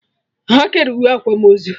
Ha kere uwe akwamozu